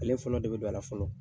Ale fɔlɔ de be don a la fɔlɔ.